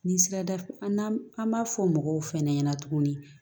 Ni sera da an b'a fɔ mɔgɔw fɛnɛ ɲɛna tuguni